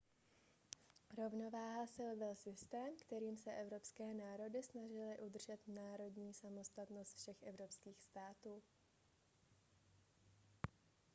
rovnováha sil byl systém kterým se evropské národy snažily udržet národní samostatnost všech evropských států